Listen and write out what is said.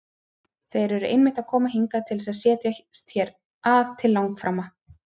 Þeir eru einmitt að koma hingað til þess að setjast hér að til langframa!